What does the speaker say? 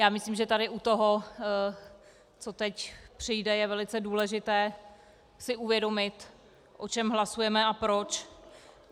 Já myslím, že tady u toho, co teď přijde, je velice důležité si uvědomit, o čem hlasujeme a proč.